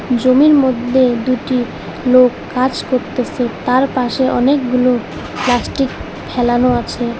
জমির মধ্যে দুটি লোক কাজ করতেসে তার পাশে অনেকগুলো প্লাস্টিক ফেলানো আছে।